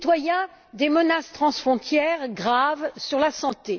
les citoyens des menaces transfrontières graves sur la santé